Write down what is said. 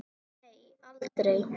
Nei, aldrei.